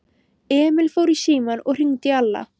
Emil fór í símann og hringdi í Alla.